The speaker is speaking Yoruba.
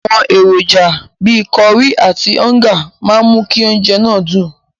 Àwọn èròjà bíi kọrí àti ọ́ńgà máa mú kí oúnjẹ náà dùn.